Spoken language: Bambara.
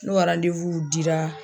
N'o ka dira.